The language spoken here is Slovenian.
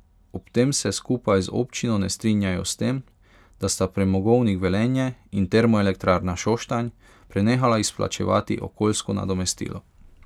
Ob tem se skupaj z občino ne strinjajo s tem, da sta Premogovnik Velenje in Termoelektrarna Šoštanj prenehala izplačevati okoljsko nadomestilo.